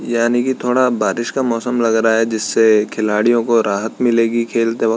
यानि की थोड़ा बारिश का मौसम लग रहा है जिससे खिलाडियों को राहत मिलेगी खेलते वक्त।